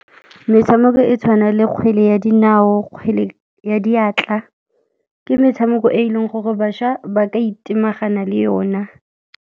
Metshameko e tshwana le kgwele ya dinao, kgwele ya diatla, ke metshameko e e leng gore bašwa ba ka itemagana le yona.